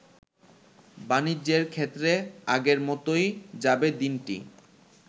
বাণিজ্যের ক্ষেত্রে আগের মতই যাবে দিনটি।